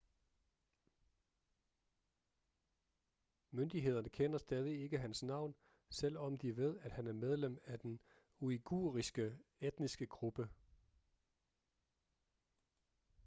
myndighederne kender stadig ikke hans navn selvom de ved at han er medlem af den uighuriske etniske gruppe